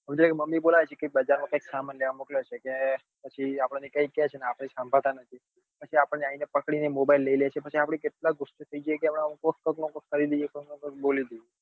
Mummy બોલાવે છે કે બજાર માં કઈક સામાન લેવા મોકલ્યો છે કે પછી આપણને કઈ કે છે પણ આપડે સંભાળતા જ નથી પછી અપાને આવી ને પકડી ને mobile લઇ લે છે પછી આપડે કેટલા બધા ગુસ્સે થઇ જઈએ કે કઈક નું કઈક કરી દ્દીએ કઈક નું કઈક બોલી દઈએ.